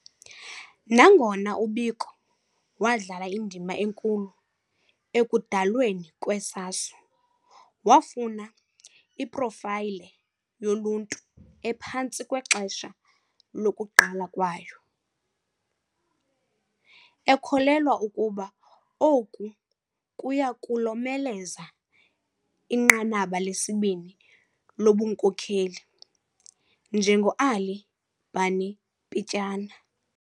Nangona uBiko wadlala indima enkulu ekudalweni kwe-SASO, wafuna iprofayile yoluntu ephantsi kwexesha lokuqala kwayo, ekholelwa ukuba oku kuya kulomeleza inqanaba lesibini lobunkokheli, njengo-ally Barney Pityana.